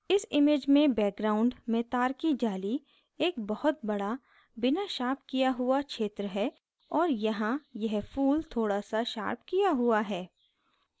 इस image में background में तार की जाली एक बहुत बड़ा बिना शार्प किया हुआ क्षेत्र है और यहाँ यह फूल थोड़ा सा शार्प किया हुआ है